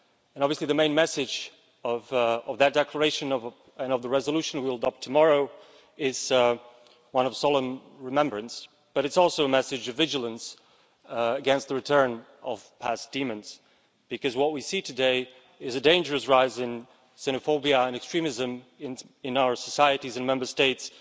Obviously, the main message of that declaration and the resolution we will adopt tomorrow is one of solemn remembrance, but it's also a message of vigilance against the return of past demons, because what we see today is a dangerous rise in xenophobia and extremism in our societies and Member States.